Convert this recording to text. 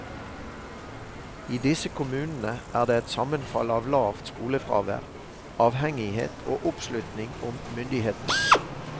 I disse kommunene er det et sammenfall av lavt skolefravær, avhengighet og oppslutning om myndighetene.